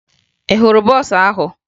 Ị hụrụ bọọsụ ahụ?